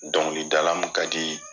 Dɔnkilidala min ka di